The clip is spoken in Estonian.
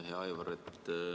Hea Aivar!